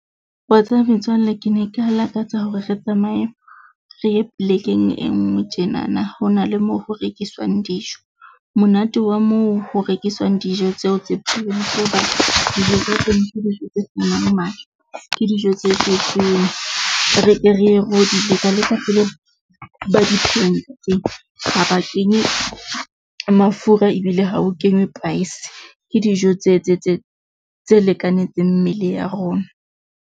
Wa tseba metswalle ke ne ke lakatsa hore re tsamaye re ye plek-eng e nngwe tjenana, ho na le moo ho rekiswang dijo. Monate wa moo ho rekiswang dijo tseo tse re ke re ye kenye mafura ebile ha o kenywe , ke dijo tse tse tse tse lekanetseng mmele ya rona.